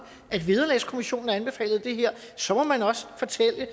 at vederlagskommissionen har anbefalet det her så må man også fortælle